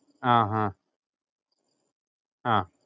ആഹ് ആഹ് അഹ്